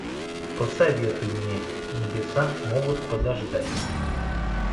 посоветуй мне небеса могут подождать